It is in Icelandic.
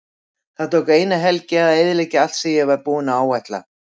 Það tók eina helgi að eyðileggja allt sem ég var búinn að áætla.